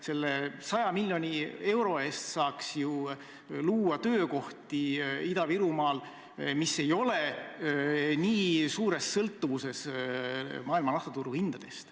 Selle 100 miljoni euro eest saaks ju luua Ida-Virumaal töökohti, mis ei ole nii suures sõltuvuses nafta maailmaturu hindadest.